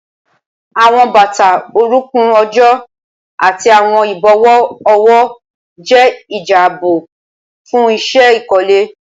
Awọn bata orunkun ojo ati awọn ibọwọ ọwọ jẹ jia aabo fun iṣẹ ikole.